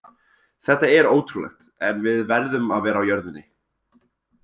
Þetta er ótrúlegt en við verðum að vera á jörðinni.